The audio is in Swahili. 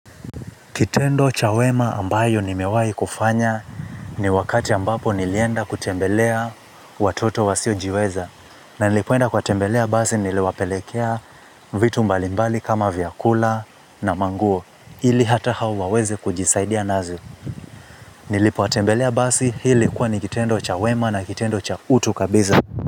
Kitendo cha wema ambayo nimewahi kufanya ni wakati ambapo nilienda kutembelea watoto wasiojiweza. Na nilipoenda kuwatembelea basi niliwapelekea vitu mbalimbali kama vyakula na manguo. Ili hata hao waweze kujisaidia nazi. Nilipotembelea basi hii ilikuwa ni kitendo cha wema na kitendo cha utu kabisa.